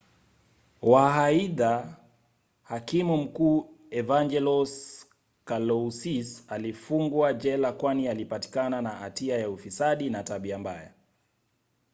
waaidha hakimu mkuu evangelos kalousis alifungwa jela kwani alipatikana na hatia ya ufisadi na tabia mbaya